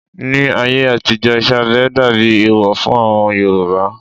Ní ayé àtijó, iṣẹ́ abẹ dàbí ẹ̀ẹ̀wọ̀ fún àwọn Yorùbá